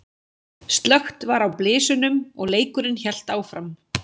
Slökkt var á blysunum og leikurinn hélt áfram.